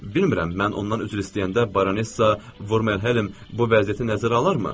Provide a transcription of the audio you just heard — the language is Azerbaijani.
Bilmirəm, mən ondan üzr istəyəndə Baronessa Vormenhelem bu vəziyyəti nəzərə alarmı?